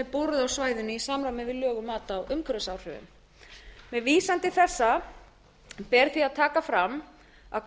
á svæðinu í samræmi við lög um mat á umhverfisáhrifum með vísan til þessa ber því að taka fram að